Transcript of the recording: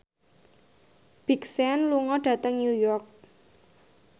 Big Sean lunga dhateng New York